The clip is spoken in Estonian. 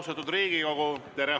Austatud Riigikogu!